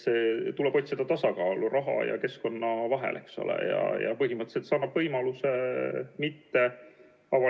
Samuti anname turujärelevalveasutustele õiguse nõuda elektroonilise side ettevõtjalt vajalikus ja minimaalses ulatuses andmeid veebilehe omaniku kindlakstegemiseks.